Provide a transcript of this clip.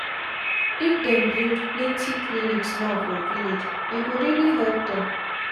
if dem build plenty clinics now for village e go really help them